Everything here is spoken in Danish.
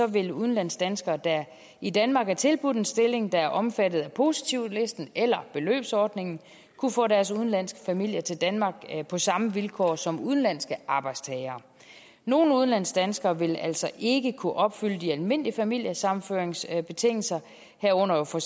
vil udenlandsdanskere der i danmark er tilbudt en stilling der er omfattet af positivlisten eller beløbsordningen kunne få deres udenlandske familie til danmark på samme vilkår som udenlandske arbejdstagere nogle udenlandsdanskere vil altså ikke kunne opfylde de almindelige familiesammenføringsbetingelser herunder for